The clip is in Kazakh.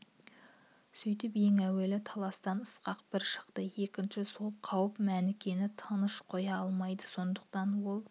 сөйтіп ең әуелі таластан ысқақ бір шықты екінші сол қауіп мәнікені тыныш қоя алмайды сондықтан ол